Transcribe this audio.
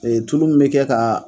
tulu mun bɛ kɛ ka